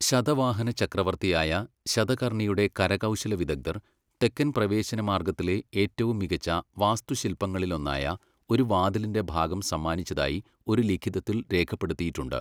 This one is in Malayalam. ശതവാഹന ചക്രവർത്തിയായ ശതകർണിയുടെ കരകൗശല വിദഗ്ധർ തെക്കൻ പ്രവേശന മാർഗത്തിലെ ഏറ്റവും മികച്ച വാസ്തുശില്പങ്ങളിലൊന്നായ ഒരു വാതിലിന്റെ ഭാഗം സമ്മാനിച്ചതായി ഒരു ലിഖിതത്തിൽ രേഖപ്പെടുത്തിയിട്ടുണ്ട്.